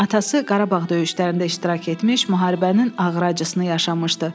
Atası Qarabağ döyüşlərində iştirak etmiş, müharibənin ağır acısını yaşamışdı.